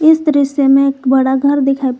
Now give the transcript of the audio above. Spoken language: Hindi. इस दृश्य में एक बड़ा घर दिखाई--